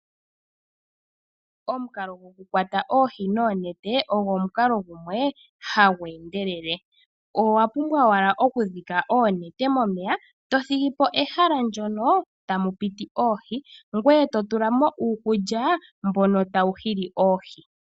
Omukalo gokukwata oohi noonete ogwo omukalo gumwe hagu endele. Owapumbwa wala oku dhika onete momeya tothigi po pehala ndyono tamu piti oohi ngweye totula mo uukulya mbono tawu hili oohi.